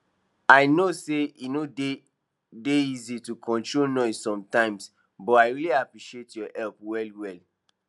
i know say e no dey dey easy to control noise sometimes but i really appreciate your help well well